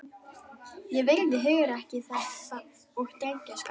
Ég virði hugrekki þess og drengskap.